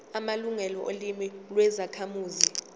amalungelo olimi lwezakhamuzi